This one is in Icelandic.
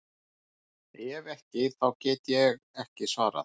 Ef ekki þá get ég ekki svarað.